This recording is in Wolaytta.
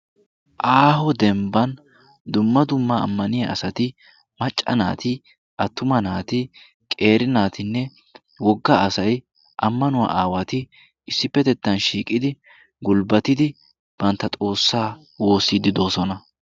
Aaho dembban dumma dumma ammaniya asati macca naati attuma naati qeeri naatinne wogga asai ammanuwaa aawati issippetettan shiiqidi gulbbatidi bantta xoossaa woossiiddi doosona.